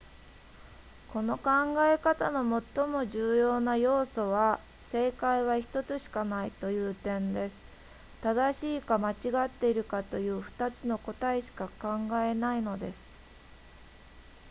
この考え方の最も重要な要素は正解は1つしかないという点です正しいか間違っているかという2つの答えしか考えないのです